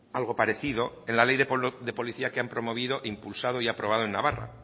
algo parecido en la ley de policía que han promovido impulsado y aprobado en navarra